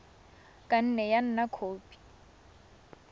ka nne ya nna khopi